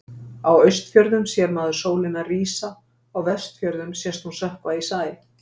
Á Austfjörðum sér maður sólina rísa, á Vestfjörðum sést hún sökkva í sæ.